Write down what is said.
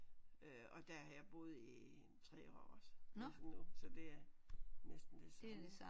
Øh og der har jeg boet i en 3 år også næsten nu så det er næsten det samme